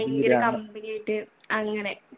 ഭയങ്കര company ആയിട്ട് അങ്ങനെ